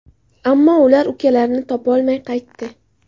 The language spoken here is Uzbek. Ammo ular ukalarini topolmay qaytdi.